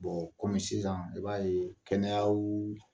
kɔmi sisan i b'a ye kɛnɛyaw